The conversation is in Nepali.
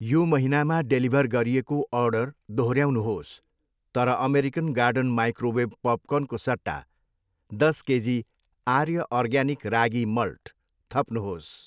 यो महिनामा डेलिभर गरिएको अर्डर दोहोऱ्याउनुहोस् तर अमेरिकन गार्डन माइक्रोवेभ पपकर्नको सट्टा दस KG Aarya organic ragi malt थप्नुहोस्।